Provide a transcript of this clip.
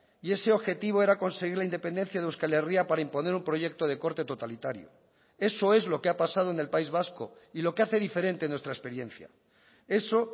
y ese objetivo era conseguir la independencia de euskal herria para imponer un proyecto de corte totalitario eso es lo que ha pasado en el país vasco y lo que hace diferente nuestra experiencia eso